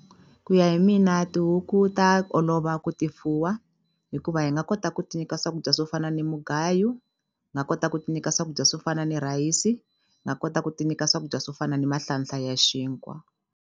Ku ya hi mina tihuku ta olova ku ti fuwa hikuva hi nga kota ku ti nyika swakudya swo fana ni mugayu nga kota ku ti nyika swakudya swo fana ni rhayisi nga kota ku ti nyika swakudya swo fana ni mahlanhla ya xinkwa.